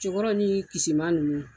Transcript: Cɛkɔrɔ ni Kisima ninnu